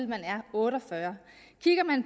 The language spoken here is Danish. man er otte og fyrre